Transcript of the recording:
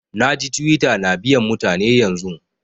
Na ji Twitter na biyan mutane yanzun.